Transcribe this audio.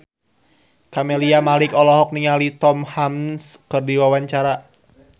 Camelia Malik olohok ningali Tom Hanks keur diwawancara